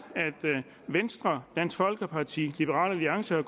venstre dansk folkeparti liberal alliance og